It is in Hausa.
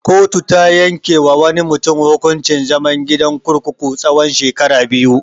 Kotu ta yanke wa wani mutun hukuncin zaman gidan kurkuku tsawan shekara biyu.